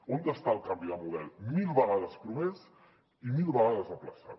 on està el canvi de model mil vegades promès i mil vegades ajornat